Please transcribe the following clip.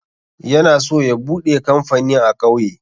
Yana so ya buɗe kamfani a ƙauye.